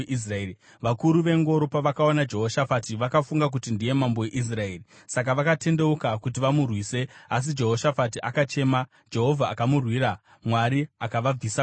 Vakuru vengoro pavakaona Jehoshafati vakafunga kuti ndiye mambo weIsraeri. Saka vakatendeuka kuti vamurwise asi Jehoshafati akachema, Jehovha akamurwira. Mwari akavabvisa kwaari,